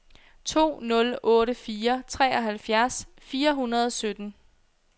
to nul otte fire treoghalvfjerds fire hundrede og sytten